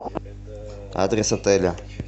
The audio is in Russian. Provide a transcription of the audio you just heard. адрес отеля